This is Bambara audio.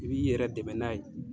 I b'i yɛrɛ dɛmɛ n'a ye.